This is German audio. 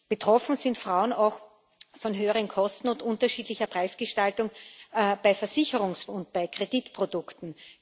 Betroffen sind Frauen auch von höheren Kosten und unterschiedlicher Preisgestaltung bei Versicherungs und bei Kreditprodukten.